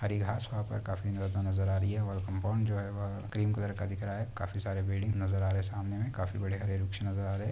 हरी घास वहा पर काफी ज्यादा नज़र आ रही है और कंपाउंड जो है वह क्रीम कलर का दिख रहा है। काफी सारे बिल्डिंग नज़र आ रहे सामने में काफी बड़े हरे वृक्ष नज़र आ रहे।